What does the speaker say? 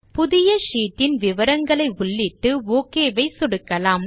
புதிய ஷீட் இன் விவரங்களை உள்ளிட்டு ஒக் ஐ சொடுக்கலாம்